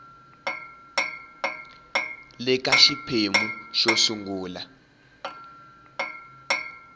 le ka xiphemu xo sungula